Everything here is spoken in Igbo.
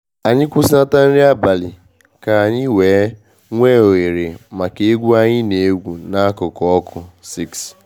Anyị kwusinata nri abalị ka anyị wee nwe oghere maka egwu anyị na egwu n'akụkụ ọkụ.6